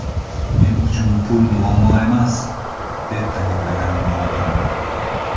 Men uchun pul muammo emas”, deb ta’kidlagan Maradona.